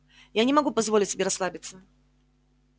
я не могу позволить себе расслабиться